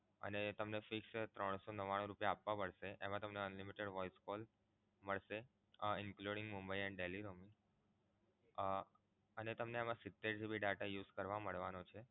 અને તમે fix rate ત્રણ સો નવ્વાણું રૂપિયા આપવા પડશે તમને Unlimited voice calls થશે including mumbai and delhi roaming અમ અને તમને એમા સિતેર GB data use કરવા મળવાનો છે